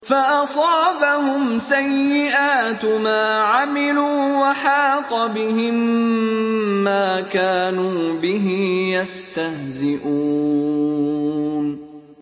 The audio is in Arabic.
فَأَصَابَهُمْ سَيِّئَاتُ مَا عَمِلُوا وَحَاقَ بِهِم مَّا كَانُوا بِهِ يَسْتَهْزِئُونَ